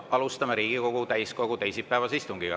Alustame Riigikogu täiskogu teisipäevast istungit.